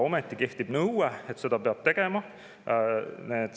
Ometi kehtib nõue, et seda peab tegema.